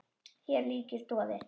Hér ríkir doði.